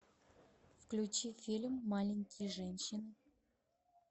включи фильм маленькие женщины